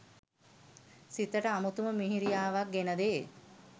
සිතට අමුතුම මිහිරියාවක් ගෙන දේ